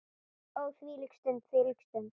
Ó þvílík stund, þvílík stund.